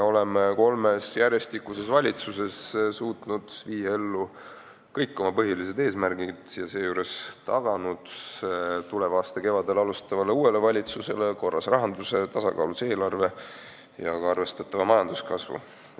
Oleme kolmes järjestikuses valitsuses suutnud saavutada kõik oma põhilised eesmärgid ja seejuures taganud tuleva aasta kevadel alustavale uuele valitsusele korras rahanduse, tasakaalus eelarve ja ka arvestatava majanduskasvu.